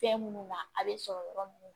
Fɛn minnu na a bɛ sɔrɔ yɔrɔ minnu